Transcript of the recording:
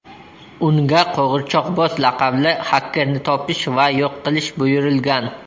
Unga Qo‘g‘irchoqboz laqabli xakerni topish va yo‘q qilish buyurilgan.